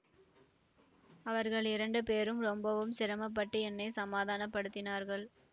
அவர்கள் இரண்டு பேரும் ரொம்பவும் சிரமப்பட்டு என்னை சமாதானப்படுத்தினார்கள்